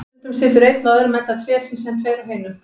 Stundum situr einn á öðrum enda trésins, en tveir á hinum.